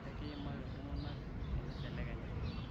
ekiimaki iltunganak enibelekenya